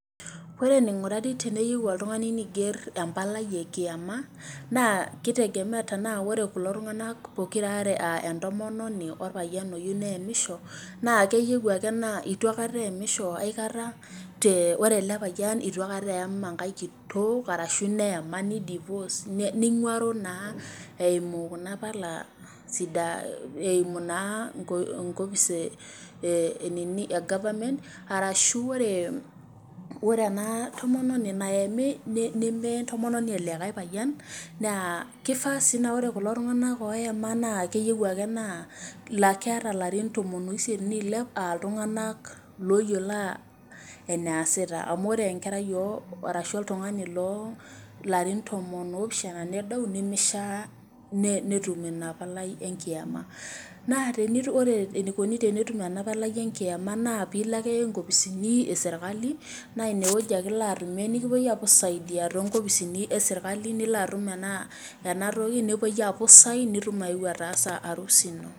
Ore eneingurari teniyieu oltungani neiger empalai e kiama naa kitegemea tenaa ore kulo tunganak poki aaare aa entomononi o lpayian oyieu neamisho naa keyieu ake naa eitu eyamisho aikata ore ele payian eitu aikata eyam enkae kitok arashu neyama niguaro naa eyimu Kuna pala eimu naa enkopis e government arashu ore ena tomononi nayami neme entomononi elikae payian naa kifaa sii naa ore kulo tunganak ooyama naa keyieu ake naa keetai ilarin tomon ooisiet neilep aa iltunganak looyiolo enaasitaa amu ore enkerai arashu oltungani loo larin tomon oopishana nedou nemishia naa netum Ina palai enkiama naa ore enaikoni tenetumi ena palai enkiama naa pee Iko ake inkopisini e serikali naa ine wueji ake Ilo atumie nikipui aapuo ai saidia toonkopisini e serikali nilo atum ena toki nepui aapuo ai sign nitum aeu ataasa harusi ino .